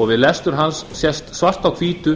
og við lestur hans sést svart á hvítu